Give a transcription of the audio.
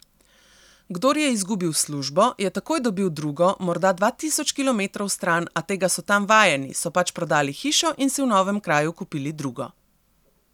Kdor je izgubil službo, je takoj dobil drugo, morda dva tisoč kilometrov stran, a tega so tam vajeni, so pač prodali hišo in si v novem kraju kupili drugo.